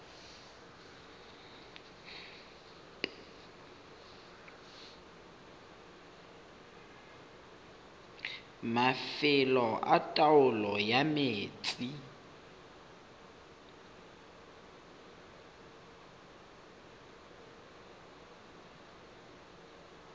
mafelo a taolo ya metsi